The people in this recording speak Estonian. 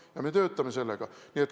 Ja me töötame selle kallal.